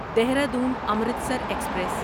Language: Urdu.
دہرادون امرتسر ایکسپریس